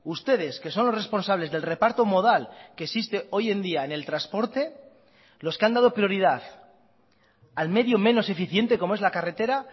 ustedes que son los responsables del reparto modal que existe hoy en día en el transporte los que han dado prioridad al medio menos eficiente como es la carretera